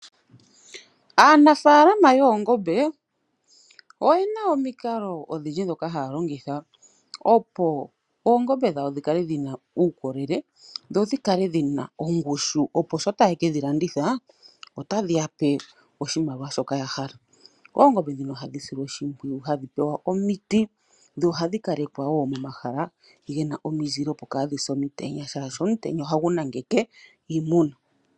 Aanafalama yoongombe oyena omikalo odhindji ndhoka haya longitha opo oongombe dhawo dhikale dhina uukolele dho dhikale dhina ongushu opo sho tayeke dhilanditha otadhiyape oshimaliwa shoka kwali yahala. Oongombe dhino ohadhi silwa oshimpwiyu hadhi pewa omiti dho ohadhi kalekwa woo momahala gena omizile opo kaadhise omutenya oshoka ohagu nangeke iimuna.